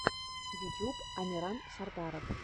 ютьюб амиран сардаров